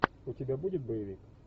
у тебя будет боевик